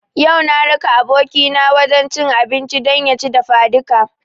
Yau na raka abokina wajen cin abinci don ya ci dafadika